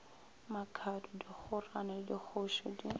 makhado dikhorane le dikgoši di